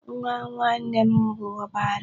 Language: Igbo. Nwa nwanne m bụ ọbara m.